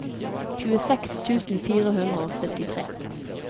tjueseks tusen fire hundre og syttitre